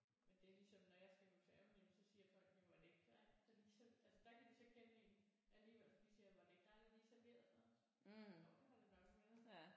Men det er ligesom når jeg skal med færgen jamen så siger folk jo var det ikke dig der lige altså der kan de så kende en alligevel de siger var det ikke dig der lige serverede for os? Jo det har det nok været